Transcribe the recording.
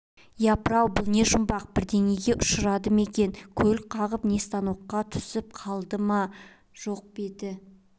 япыр-ау бұл не жұмбақ бірдеңеге ұшырады ма екен көлік қағып не станокқа түсіп қалды ма жоқ беті